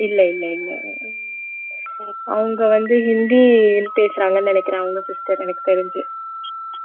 இல்லை இல்லை இல்லை அவங்க வந்து ஹிந்தி பேசுறாங்கன்னு நினைக்கிறேன் அவங்க sister எனக்குத் தெரிஞ்சு